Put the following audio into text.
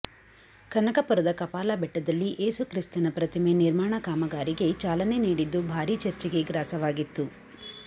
ಕನಕಪುರದ ಕಪಾಲ ಬೆಟ್ಟದಲ್ಲಿ ಏಸು ಕ್ರಿಸ್ತನ ಪ್ರತಿಮೆ ನಿರ್ಮಾಣ ಕಾಮಗಾರಿಗೆ ಚಾಲನೆ ನೀಡಿದ್ದು ಭಾರೀ ಚರ್ಚೆಗೆ ಗ್ರಾಸವಾಗಿತ್ತು